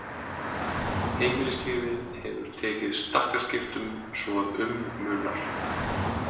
Heimilislífið hefur tekið stakkaskiptum svo að um munar.